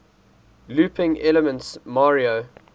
looping elements mario